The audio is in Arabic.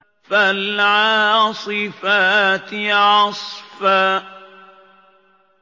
فَالْعَاصِفَاتِ عَصْفًا